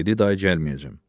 Dedi day gəlməyəcəm.